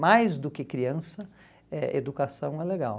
mais do que criança, eh educação é legal.